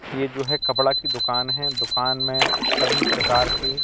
ये जो है। कपड़ा की दुकान है दुकान में प्रकार के--